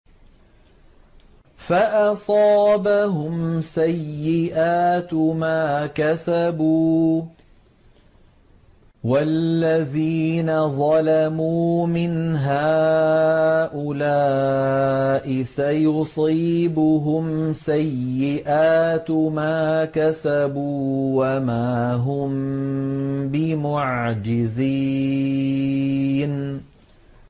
فَأَصَابَهُمْ سَيِّئَاتُ مَا كَسَبُوا ۚ وَالَّذِينَ ظَلَمُوا مِنْ هَٰؤُلَاءِ سَيُصِيبُهُمْ سَيِّئَاتُ مَا كَسَبُوا وَمَا هُم بِمُعْجِزِينَ